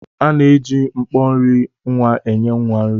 À na-eji mkpọ nri nwa enye nwa nri.